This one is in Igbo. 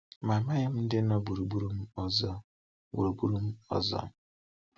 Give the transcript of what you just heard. Amaghị m ndị nọ gburugburu m ọzọ. gburugburu m ọzọ.